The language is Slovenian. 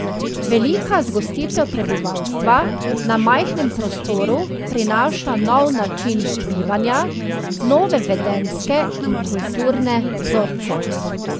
Velika zgostitev prebivalstva na majhnem prostoru prinaša nov način bivanja, nove vedenjske in kulturne vzorce.